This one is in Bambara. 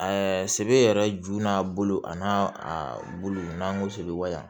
sebe yɛrɛ ju n'a bolo a n'a a bulu n'an go seli wa